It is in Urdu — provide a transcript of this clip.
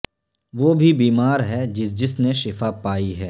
وہ بھی بیمار ہے جس جس نے شفا پائی ہے